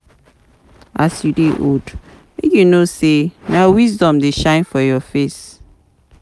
As you dey old, make you know sey na wisdom dey shine for your face.